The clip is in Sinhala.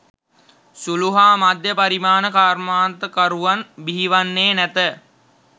සුළු හා මධ්‍ය පරිමාණ කර්මාන්තකරුවන් බිහිවන්නේ නැත.